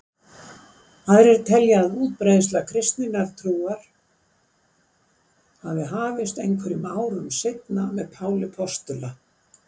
Aðrir telja að útbreiðsla kristinnar trúar hafi hafist einhverjum árum seinna með Páli postula.